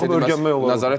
Nəzarət eləmək lazımdır.